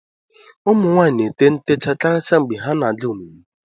ụmụ nwaanyị na-ete ntechaa karịsịa mgbe ha na-aga emume